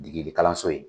Dege degekaso in